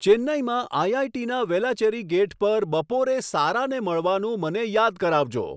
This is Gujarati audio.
ચેન્નઈમાં આઇઆઇટીના વેલાચેરી ગેટ પર બપોરે સારાને મળવાનું મને યાદ કરાવજો